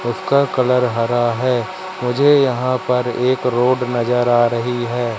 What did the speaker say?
उसका कलर हरा है मुझे यहां पर एक रोड नजर आ रही है।